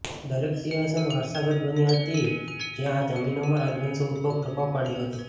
દરેક સિંહાસન વારસાગત બની હતી જે આ જમીનો માં રાજવંશો ઉદભવ પ્રભાવ પાડ્યો હતો